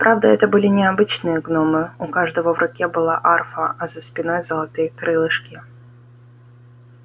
правда это были не обычные гномы у каждого в руке была арфа а за спиной золотые крылышки